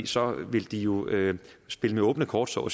så ville de jo spille med åbne kort så